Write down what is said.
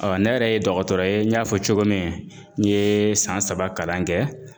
Ɔ ne yɛrɛ ye dɔgɔtɔrɔ ye n y'a fɔ cogo min n ye san saba kalan kɛ